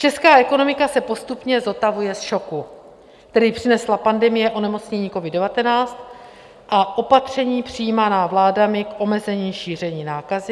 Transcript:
Česká ekonomika se postupně zotavuje z šoku, který přinesla pandemie onemocnění covid-19 a opatření přijímaná vládami k omezení šíření nákazy.